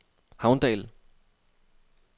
Havndal